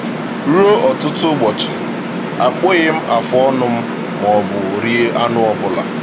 Ruo ọtụtụ ụbọchị, akpụghị m afụọnụ m maọbụ rie anụ ọbụla.